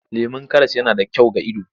Lemon karas yana da kyau ga ido.